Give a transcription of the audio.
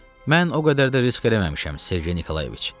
Mən o qədər də risk eləməmişəm, Sergey Nikolayeviç.